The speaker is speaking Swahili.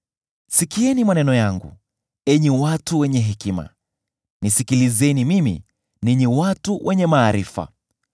“Sikieni maneno yangu, enyi watu wenye hekima; nisikilizeni mimi, ninyi watu wenye maarifa.